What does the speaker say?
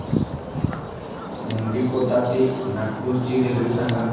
मुंडीकोटा ते नागपूर ची रेल्वे सांगा